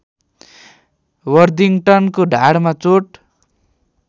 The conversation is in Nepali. वर्दिङ्ग्टनको ढाडमा चोट